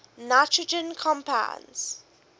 nitrogen compounds